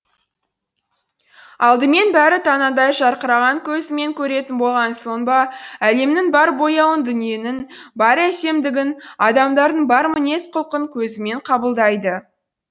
алдымен бәрін танадай жарқыраған көзімен көретін болған соң ба әлемнің бар бояуын дүниенің бар әсемдігін адамдардың бар мінез құлқын көзімен қабылдайды